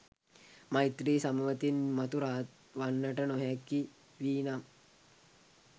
මෛත්‍රී සමවතින් මතු රහත් වන්නට නොහැකි වී නම්